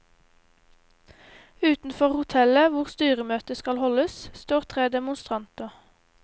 Utenfor hotellet, hvor styremøtet skal holdes, står tre demonstranter.